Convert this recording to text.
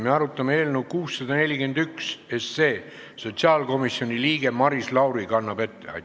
Me arutame eelnõu 641, sotsiaalkomisjoni liige Maris Lauri teeb ettekannet.